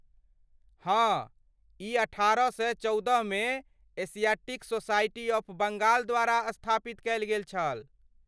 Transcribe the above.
हाँ, ई अठारह सए चौदहमे एशियाटिक सोसाइटी ऑफ बंगाल द्वारा स्थापित कयल गेल छल।